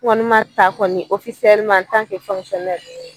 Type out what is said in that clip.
N Kɔni ta kɔni ofisɛleman an tan ke fɔnkisiyɔnnɛri